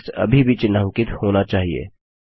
text अभी भी चिन्हांकित होना चाहिए